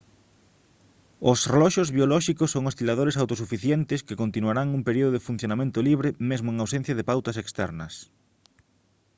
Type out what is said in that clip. os reloxos biolóxicos son osciladores autosuficientes que continuarán un período de funcionamento libre mesmo en ausencia de pautas externas